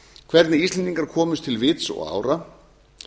hvernig íslendingar komust til vits og ára